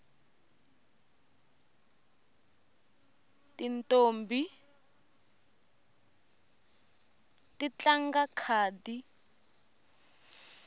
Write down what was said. tintombhi ti tlanga khadi